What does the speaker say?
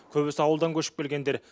көбісі ауылдан көшіп келгендер